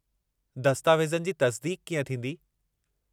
दस्तावेज़नि जी तस्दीक़ कीअं थींदी?